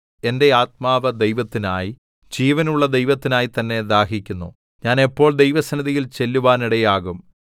എന്റെ ആത്മാവ് ദൈവത്തിനായി ജീവനുള്ള ദൈവത്തിനായി തന്നെ ദാഹിക്കുന്നു ഞാൻ എപ്പോൾ ദൈവസന്നിധിയിൽ ചെല്ലുവാനിടയാകും